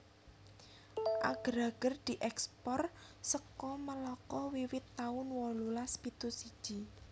Ager ager dièkspor saka Melaka wiwit taun wolulas pitu siji